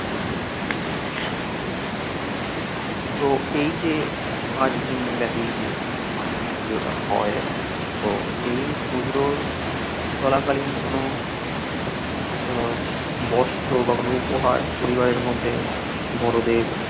তো এই যে পাঁচ দিন ব্যাপী যে বাসন্তী পুজোটা হয় তো এই পুজোর চলাকালীন কোনো উম বস্ত্র বা কোনো উপহার পরিবারের মধ্যে বড়োদের